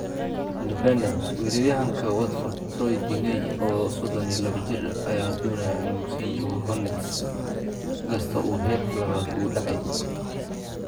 (Independent) Weeraryahanka Watford Troy Deeney, oo 32 jir ah, ayaa doonaya inuu sii joogo Hornets, inkastoo uu heerka labaad u dhacay.